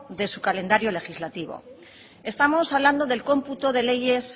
de su calendario legislativo estamos hablando del cómputo de leyes